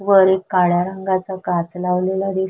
वर एक काळ्या रंगाच काच लावलेला दिस --